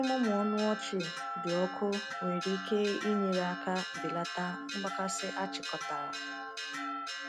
Ịmụmụ ọnụ ọchị dị ọkụ nwere ike inyere aka belata mgbakasị achịkọtara.